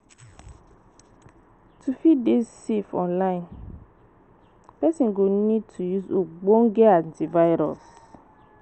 to fit dey safe online, person go need to use ogbonge antivirus